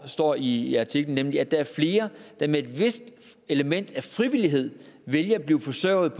står i artiklen nemlig at der er flere der med et vist element af frivillighed vælger at blive forsørget